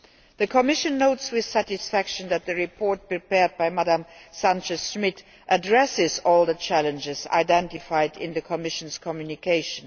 The Commission notes with satisfaction that the report prepared by Ms Sanchez Schmid addresses all the challenges identified in the Commission's communication.